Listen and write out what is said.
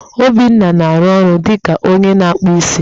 Obinna na-arụ ọrụ dị ka onye na-akpụ isi.